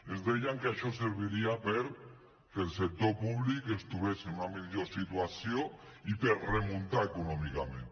ens deien que això serviria perquè el sector públic es trobés en una millor situació i per remuntar econòmicament